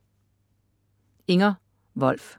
Inger Wolf